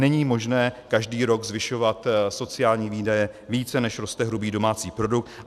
Není možné každý rok zvyšovat sociální výdaje více, než roste hrubý domácí produkt.